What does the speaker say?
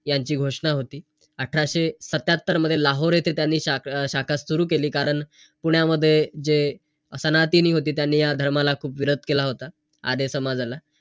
आणि खरं सांगू तर मनसुक्त आपण काहीतरी शिकतो .